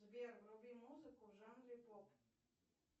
сбер вруби музыку в жанре поп